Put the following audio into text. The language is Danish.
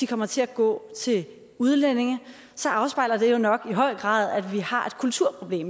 kommer til at gå til udlændinge så afspejler det jo nok i høj grad at vi har